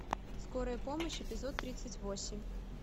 скорая помощь эпизод тридцать восемь